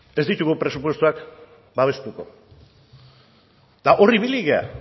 ez ditugu presupuestoak babestuko eta hor ibili gara